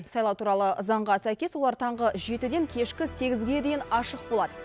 сайлау туралы заңға сәйкес олар таңғы жетіден кешкі сегізге дейін ашық болады